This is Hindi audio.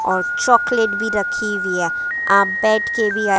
और चॉकलेट भी रखी हुई है आप बैठके विया--